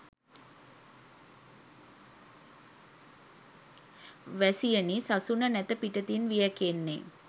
වැසියනි සසුන නැත පිටතින් වියැකෙන්නේ